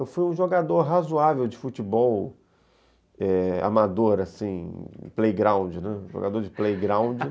Eu fui um jogador razoável de futebol, eh, amador, assim, playground, né, jogador de playground